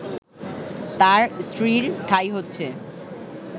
তার স্ত্রীর ঠাঁই হচ্ছে